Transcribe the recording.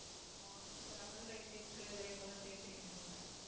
ஆமா அந்த lemon rice ஐயும் புளியோதரையும் முதல்ல செய்ய தெரியனுமே